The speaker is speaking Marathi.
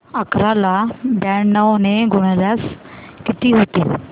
अकरा ला ब्याण्णव ने गुणल्यास किती होतील